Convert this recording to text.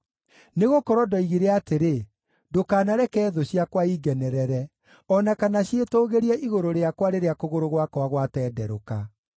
Nĩgũkorwo ndoigire atĩrĩ, “Ndũkanareke thũ ciakwa ingenerere, o na kana ciĩtũũgĩrie igũrũ rĩakwa rĩrĩa kũgũrũ gwakwa gwatenderũka.”